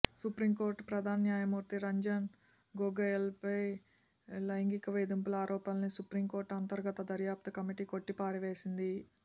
supreme court ప్రధాన న్యాయమూర్తి రంజన్ గొగోయ్పై లైంగిక వేధింపుల ఆరోపణల్ని సుప్రీం కోర్టు అంతర్గత దర్యాప్తు కమిటీ కొట్టిపారేసింది